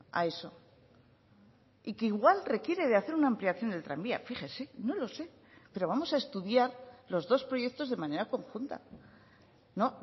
a eso y que igual requiere de hacer una ampliación del tranvía fíjese no lo sé pero vamos a estudiar los dos proyectos de manera conjunta no